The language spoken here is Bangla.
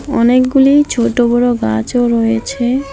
অনেকগুলি ছোটো বড়ো গাছও রয়েছে।